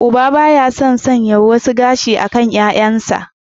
Uba ba ya son sanya wasu gashi a kan 'ya'yansa.